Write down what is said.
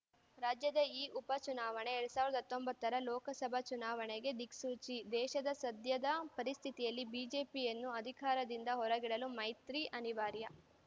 ರಾಜ್ಯದ ಈ ಉಪ ಚುನಾವಣೆ ಎರಡ್ ಸಾವಿರದ ಹತ್ತೊಂಬತ್ತರ ಲೋಕಸಭಾ ಚುನಾವಣೆಗೆ ದಿಕ್ಸೂಚಿ ದೇಶದ ಸದ್ಯದ ಪರಿಸ್ಥಿತಿಯಲ್ಲಿ ಬಿಜೆಪಿಯನ್ನು ಅಧಿಕಾರದಿಂದ ಹೊರಗಿಡಲು ಮೈತ್ರಿ ಅನಿವಾರ್ಯ